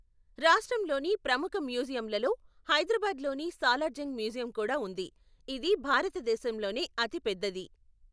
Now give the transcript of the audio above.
రాష్ట్రంలోని ప్రముఖ మ్యూజియంలలో హైదరాబాద్లోని సాలార్జంగ్ మ్యూజియం కూడా ఉంది, ఇది భారతదేశంలోనే అతిపెద్దది.